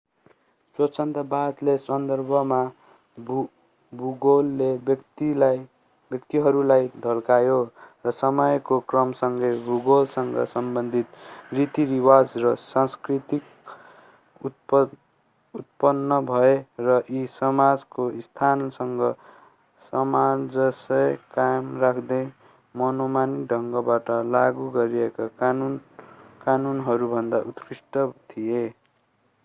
स्वच्छन्दतावादको सन्दर्भमा भूगोलले व्यक्तिहरूलाई ढल्कायो र समयको क्रमसँगै भूगोलसँग सम्बन्धित रीति-रिवाज र संस्कृति उत्पन्न भए र यी समाजको स्थानसँग सामञ्जस्य कायम राख्दै मनोमानी ढंगबाट लागू गरिएका कानूनहरूभन्दा उत्कृष्ट थिए